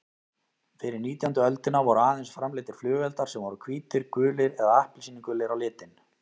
Fyrir nítjándu öldina voru aðeins framleiddir flugeldar sem voru hvítir, gulir eða appelsínugulir á litinn.